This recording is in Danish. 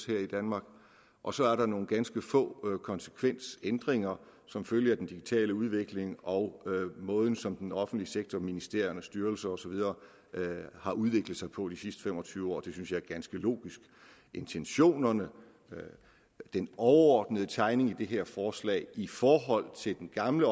her i danmark og så er der nogle ganske få konsekvensændringer som følge af den digitale udvikling og måden som den offentlige sektor ministerier styrelser og så videre har udviklet sig på i de sidste fem og tyve år og det synes jeg er ganske logisk intentionerne den overordnede tegning i det her forslag i forhold til den gamle